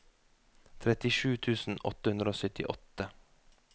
trettisju tusen åtte hundre og syttiåtte